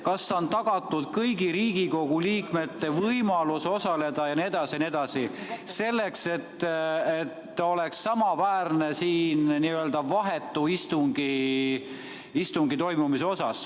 Kas on tagatud kõigi Riigikogu liikmete võimalus osaleda, nii et istung on samaväärne kui saalis toimuv?